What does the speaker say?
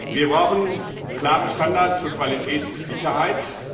Wir brauchen klare Standards für Qualität und Sicherheit.